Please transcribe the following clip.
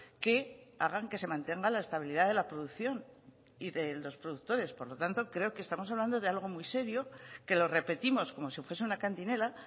que hagan que se mantenga la estabilidad de la producción y de los productores por lo tanto creo que estamos hablando de algo muy serio que lo repetimos como si fuese una cantinela